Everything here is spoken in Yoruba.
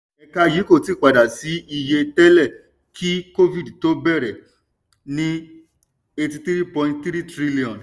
ẹ̀ka yìí kò tí padà sí iye tẹ́lẹ̀ kí covid tó bẹ̀rẹ̀ ní eighty three point three trillion.